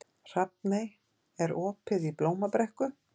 Hrafney, er opið í Blómabrekku?